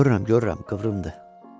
Görürəm, görürəm, qıvrımdır.